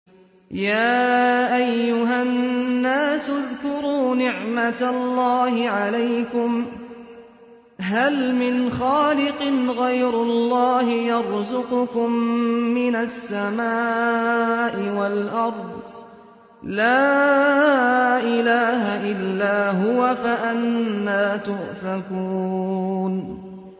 يَا أَيُّهَا النَّاسُ اذْكُرُوا نِعْمَتَ اللَّهِ عَلَيْكُمْ ۚ هَلْ مِنْ خَالِقٍ غَيْرُ اللَّهِ يَرْزُقُكُم مِّنَ السَّمَاءِ وَالْأَرْضِ ۚ لَا إِلَٰهَ إِلَّا هُوَ ۖ فَأَنَّىٰ تُؤْفَكُونَ